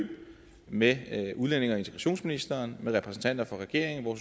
med udlændinge og integrationsministeren og repræsentanter for regeringen hvor